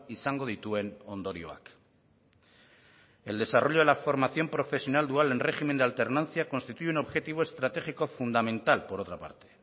izango dituen ondorioak el desarrollo de la formación profesional dual en régimen de alternancia constituye un objetivo estratégico fundamental por otra parte